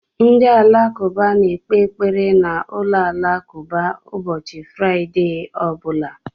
Ndị Alakụba na-ekpe ekpere na ụlọ alakụba ụbọchị Fraịde ọ bụla